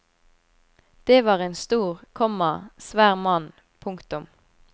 Det var en stor, komma svær mann. punktum